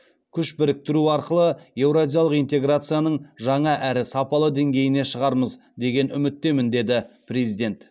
күш біріктіру арқылы еуразиялық интеграцияның жаңа әрі сапалы деңгейіне шығармыз деген үміттемін деді президент